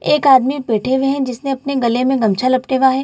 एक आदमी बैठे हुए हैं जिसने अपने गले में गमछा लपटेवा है।